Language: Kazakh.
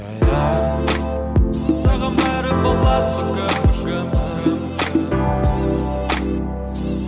саған бәрі болады бүгін бүгін